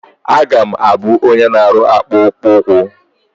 A ga m abụ onye na-arụ akpụkpụ ụkwụ.